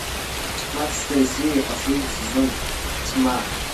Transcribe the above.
пятнадцатая серия последний сезон тьма